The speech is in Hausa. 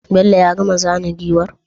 Bello ya gama zana giwar?